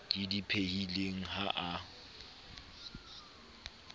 ke di phehileng ha a